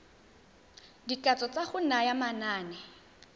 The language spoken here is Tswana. dikatso tsa go naya manane